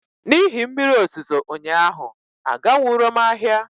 N'ihi mmiri ozuzo ụnyaahụ aganwuro m ahịa